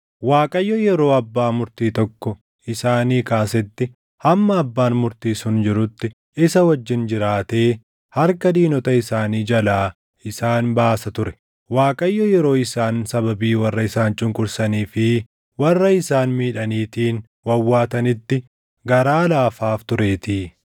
Waaqayyo yeroo abbaa murtii tokko isaanii kaasetti hamma abbaan murtii sun jirutti isa wajjin jiraatee harka diinota isaanii jalaa isaan baasa ture; Waaqayyo yeroo isaan sababii warra isaan cunqursanii fi warra isaan miidhaniitiin wawwaatanitti garaa laafaaf tureetii.